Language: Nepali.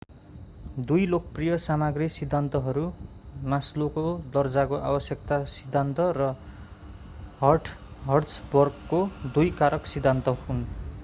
दुई लोकप्रिय सामाग्री सिद्धान्तहरू मास्लोको दर्जाको आवश्यकता सिद्धान्त र हर्ट्जबर्गको दुई कारक सिद्धान्त हुन्